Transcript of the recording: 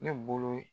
Ne bolo